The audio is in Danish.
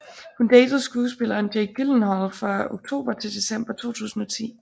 Hun datede skuespilleren Jake Gyllenhaal fra oktober til december 2010